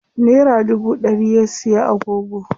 Nera dubu ɗari ya siya agogo.